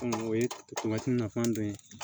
o ye nafan dɔ ye